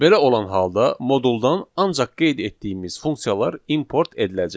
Belə olan halda moduldan ancaq qeyd etdiyimiz funksiyalar import ediləcək.